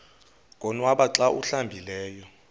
konwaba xa awuhlambileyo